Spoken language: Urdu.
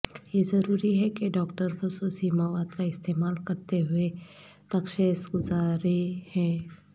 یہ ضروری ہے کہ ڈاکٹر خصوصی مواد کا استعمال کرتے ہوئے تشخیص گزارے ہیں